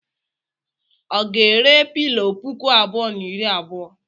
Ọ ga-ere pilọ puku abụọ na iri abuo?